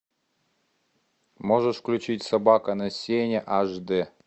можешь включить собака на сене аш дэ